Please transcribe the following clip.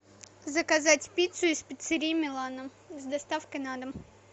заказать пиццу из пиццерии милана с доставкой на дом